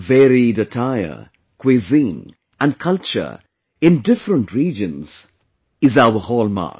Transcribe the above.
Varied attire, cuisine and culture in different regions is our hallmark